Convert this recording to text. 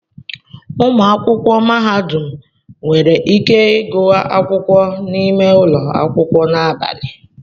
Ụmụ akwụkwọ mahadum nwere ike ịgụ akwụkwọ n'ime ụlọ akwụkwọ na abalị.